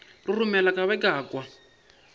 roromela ka be ka kwa